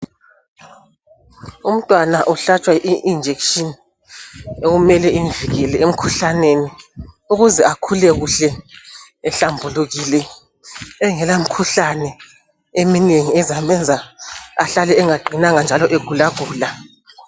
Umntwana uhlatshwa i injection ekumele imvikele emkhuhlaneni ukuze akhule kuhle ehlambulukile engela mikhuhlane eminengi ezamenza ahlale engaqinanga njalo egula gula.